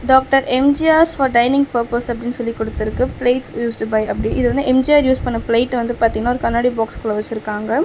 Doctor M G R for dining purpose அப்படின்னு சொல்லி குடுத்துருக்கு. பிளேட்ஸ் யூஸ்டு பை அப்டி இது வந்து எம் ஜி ஆர் யூஸ் பண்ண பிளேட்ட வந்து பாத்திங்கன்னா ஒரு கண்ணாடி பாக்ஸ்குள்ள வச்சிருக்காங்க.